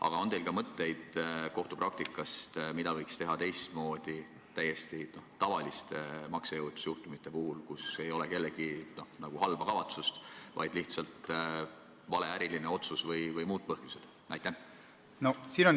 Aga on teil ka mõtteid kohtupraktika kohta, mida võiks teha teistmoodi täiesti tavaliste maksejõuetusjuhtumite puhul, kui kellelgi ei ole halba kavatsust, vaid on lihtsalt vale äriline otsus või muud põhjused?